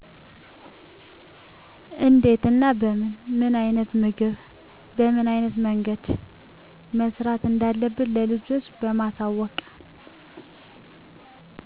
እንዴት እና በምን፣ ምን አይነት ምግብ በምን አይነት መንገድ መሰራት እንዳለበት ለልጆች በማሳወቅ።